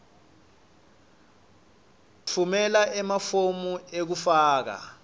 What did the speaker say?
tfumela emafomu ekufaka